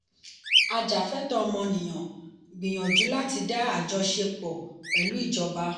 ajafẹtọ ọmọnìyàn gbìyànjú láti dá àjọṣe pọ̀ pẹ̀lú ìjọba.